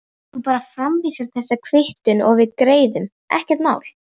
Þú bara framvísar þessari kvittun og við greiðum, ekkert mál.